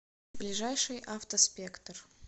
ближайший автоспектр